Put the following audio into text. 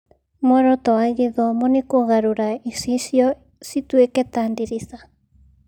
"Muoroto wa gĩthomo nĩ kũgarũra icicio cituĩke ta ndirica."